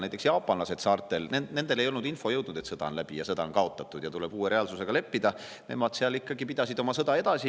Näiteks jaapanlased saartel, nendeni ei olnud jõudnud info, et sõda on läbi, et sõda on kaotatud ja tuleb uue reaalsusega leppida, nemad seal pidasid ikka oma sõda edasi.